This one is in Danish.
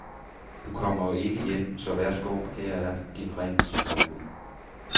Du kommer jo ikke hjem, så værsgo her er din ring, skrev hun.